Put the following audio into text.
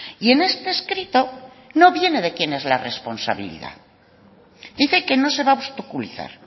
y en este escrito no viene de quien es la responsabilidad dice que no se va a obstaculizar